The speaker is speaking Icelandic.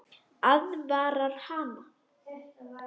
Aðvarar hana.